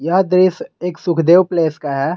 यह दृश्य एक सुखदेव प्लेस का है।